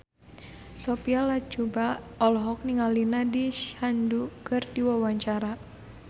Sophia Latjuba olohok ningali Nandish Sandhu keur diwawancara